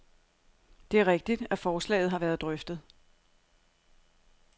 Det er rigtigt, at forslaget har været drøftet.